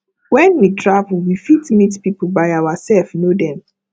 when we travel we fit meet pipo by ourself know them